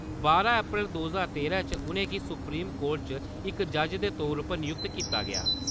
बारां अप्रैल दो ज्हार तेरां च उ'नेंगी सुप्रीम कोर्ट च इक जज दे तौर उप्पर नियुक्त कीता गेआ।